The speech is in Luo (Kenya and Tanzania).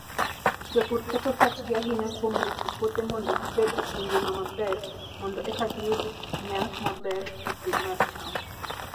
Jopur keto pachgi ahinya kuom rito puothe mondo gibed gi ngima maber, mondo eka giyud nyak maber e pur mar cham.